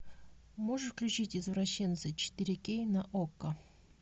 можешь включить извращенцы четыре кей на окко